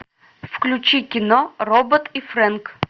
включи кино робот и фрэнк